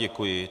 Děkuji.